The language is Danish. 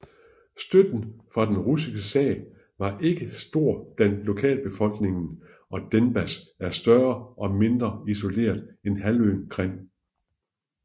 Støtten for den russiske sag var ikke stor blandt lokalbefolkningen og Denbas er større og mindre isoleret end halvøen Krim